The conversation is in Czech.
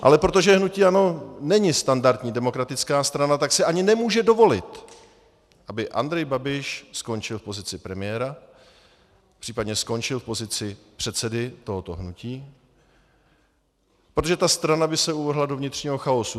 Ale protože hnutí ANO není standardní demokratická strana, tak si ani nemůže dovolit, aby Andrej Babiš skončil v pozici premiéra, případně skončil v pozici předsedy tohoto hnutí, protože ta strana by se uvrhla do vnitřního chaosu.